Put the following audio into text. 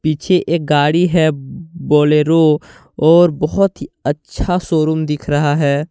पीछे एक गाड़ी हैं बोलेरो और बहोत ही अच्छा शोरूम दिख रहा हैं।